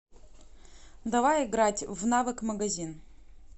давай играть в навык магазин